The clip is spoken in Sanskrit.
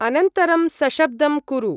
अनन्तरं सशब्दं कुरु।